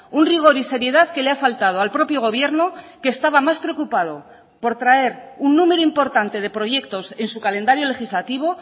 un rigor y seriedad que le ha faltado al propio gobierno que estaba más preocupado por traer un número importante de proyectos en su calendario legislativo